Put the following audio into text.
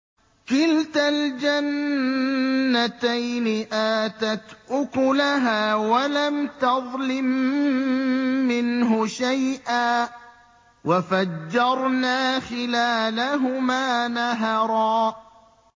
كِلْتَا الْجَنَّتَيْنِ آتَتْ أُكُلَهَا وَلَمْ تَظْلِم مِّنْهُ شَيْئًا ۚ وَفَجَّرْنَا خِلَالَهُمَا نَهَرًا